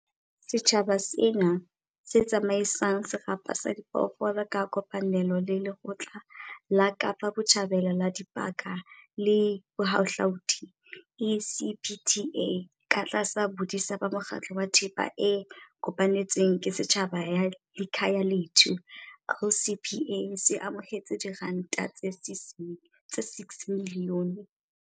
Setjhaba sena, se tsama isang serapa sa diphoofolo ka kopanelo le Lekgotla la Kapa Botjhabela la Dipaka le Bohahlaudi, ECPTA, katlasa bodisa ba Mokgatlo wa Thepa e Kopanetsweng ke Setjhaba ya Likhaya lethu, LCPA, se amohetse R6 milione